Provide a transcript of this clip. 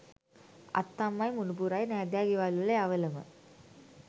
අත්තම්මයි මුනුපුරයි නෑදෑ ගෙවල් වල යවලම.